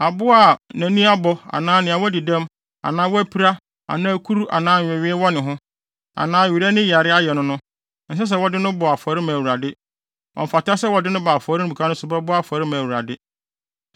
Aboa a nʼani abɔ anaa wadi dɛm anaa wapira anaa kuru anaa nwewee wɔ ne ho, anaa were ani yare ayɛ no no, ɛnsɛ sɛ wɔde no bɔ afɔre ma Awurade. Ɔmfata sɛ wɔde no ba afɔremuka so bɛbɔ afɔre ama Awurade.